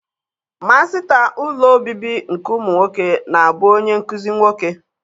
Masịta ụlọ obibi nke ụmụ nwoke na-abụ onye nkụzi nwoke.